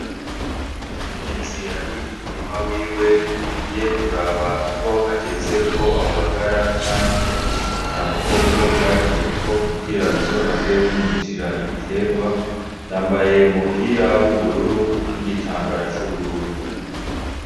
Umukenyezi ari mu murima wiwe, yagiye kuraba ko hageze ko awubagara canke atabukoko bwagiyeko kugira buzohave bumwicira ibitegwa yambaye umupira w'ubururu n'igitambara c'ubururu.